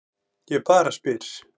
Ég bara spyr.